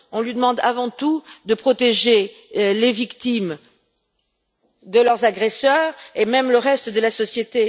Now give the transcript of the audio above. On lui demande avant tout de protéger les victimes de leurs agresseurs et le reste de la société.